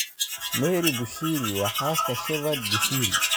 Mary Bushiri waa xaaska Shepherd Bushiri.